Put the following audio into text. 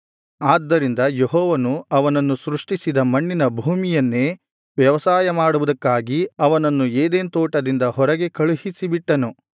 ಆದ್ದರಿಂದ ಯೆಹೋವನು ಅವನನ್ನು ಸೃಷ್ಟಿಸಿದ ಮಣ್ಣಿನ ಭೂಮಿಯನ್ನೇ ವ್ಯವಸಾಯ ಮಾಡುವುದಕ್ಕಾಗಿ ಅವನನ್ನು ಏದೆನ್ ತೋಟದಿಂದ ಹೊರಗೆ ಕಳುಹಿಸಿ ಬಿಟ್ಟನು